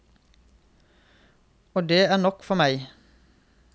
Og det er nok for meg.